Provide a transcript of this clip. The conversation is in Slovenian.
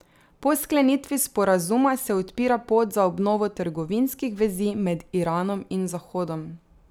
Po sklenitvi sporazuma se odpira pot za obnovo trgovinskih vezi med Iranom in Zahodom.